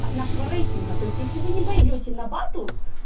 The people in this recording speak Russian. от нашего рейтинга то есть если вы не пойдёте на батл